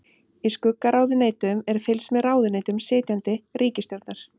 Í skuggaráðuneytum er fylgst með ráðuneytum sitjandi ríkisstjórnar.